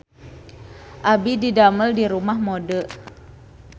Abdi didamel di Rumah Mode